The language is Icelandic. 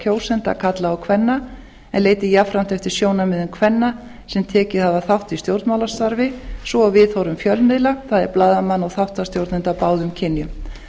kjósenda karla og kvenna en leiti jafnframt eftir sjónarmiðum kvenna sem tekið hafa þátt í stjórnmálastarfi svo og viðhorfum fjölmiðla það er blaðamanna og þáttastjórnenda af báðum kynjum